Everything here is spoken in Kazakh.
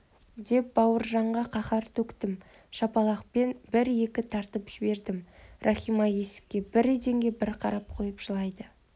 деп бауыржанға қаһар төктім шапалақпен бір-екі тартып жібердім рахима есікке бір еденге бір қарап қойып жылайды